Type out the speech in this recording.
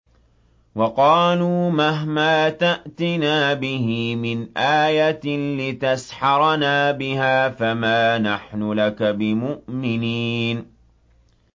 وَقَالُوا مَهْمَا تَأْتِنَا بِهِ مِنْ آيَةٍ لِّتَسْحَرَنَا بِهَا فَمَا نَحْنُ لَكَ بِمُؤْمِنِينَ